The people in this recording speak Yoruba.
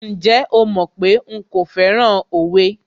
Ǹjẹ́ o mọ̀ pé nkò fẹ́ràn òwe?